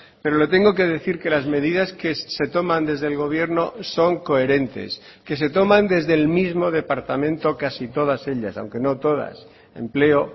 pero le tengo que decir que las medidas que se toman desde el gobierno son coherentes que se toman desde el mismo departamento casi todas ellas aunque no todas empleo